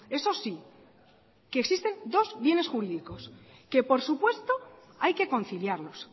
eso sí que existen dos bienes jurídicos que por supuesto hay que conciliarlos